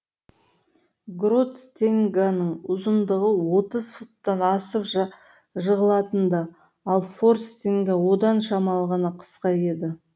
грот стеньганың ұзындығы отыз футтан асып жығылатын да ал фор стеньга одан шамалы ғана қысқа еді